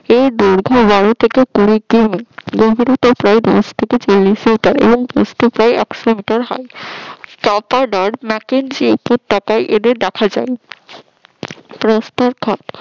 এর দৈর্ঘ্য বারো থেকে কুড়ি ফুট উচ্চতা দশ থেকে চল্লিশ ফুটের উপর প্রস্ত একশ মিটার হয়। চাপাদর ম্যাকেন্সি এদের দেখা যায় প্রস্ত